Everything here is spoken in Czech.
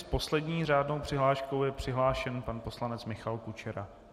S poslední řádnou přihláškou je přihlášen pan poslanec Michal Kučera.